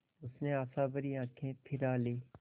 उसने आशाभरी आँखें फिरा लीं